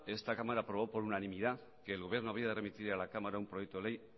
esta cámara aprobó por unanimidad que el gobierno había de remitir a la cámara un proyecto de ley